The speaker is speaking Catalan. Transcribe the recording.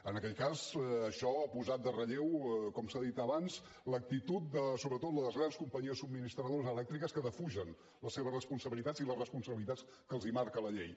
en aquell cas això ha posat en relleu com s’ha dit abans l’actitud de sobretot les grans companyies subministradores elèctriques que defugen les seves responsabilitats i les responsabilitats que els marca la llei